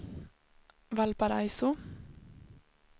Valparaiso